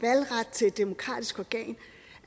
demokratisk organ